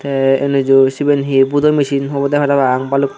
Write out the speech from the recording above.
tey enuju siben hee budo mesin obode parapang balukko.